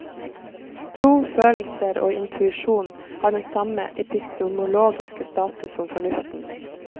Tro, følelser og intuisjon har den samme epistemologiske status som fornuften.